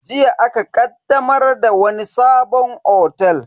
Jiya aka ƙaddamar da wani sabon otel.